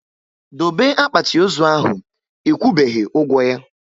Dobe akpati ozu ahụ! Ekwubeghi ụgwọ ya